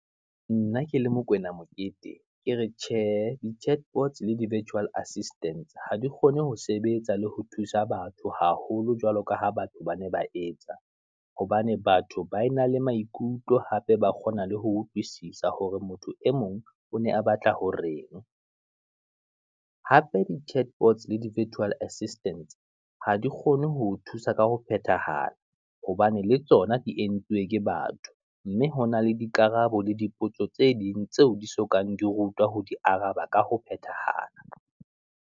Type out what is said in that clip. Nna ke le Mokwena Mokete, ke re tjhe, di chatbots le di virtual assistant, ha di kgone ho sebetsa le ho thusa batho haholo jwalo ka ha batho ba ne ba etsa, hobane batho ba e na le maikutlo, hape ba kgona le ho utlwisisa, hore motho e mong o ne a batla horeng, hape di chatbots le di virtual assistance, ha di kgone ho o thusa ka ho phethahala. Hobane le tsona di entswe ke batho, mme hona le dikarabo le dipotso tse ding, tseo di so kang di rutwa ho di araba ka ho phethahala.